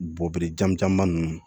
Bɔgɔdijamba nunnu